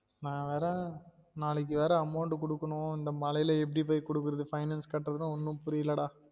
நான் வேற நாளைக்கு வேற amount குடுக்கணும் இந்த மழையில எப்டி போயி குடுக்குறது finance கட்டுறது ஒன்னும் புரியல டா